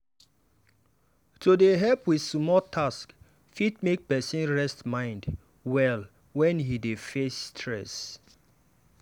to dey help with small tasks fit make person rest mind well when e dey face stress.